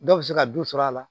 Dɔw bɛ se ka dɔ sɔr'a la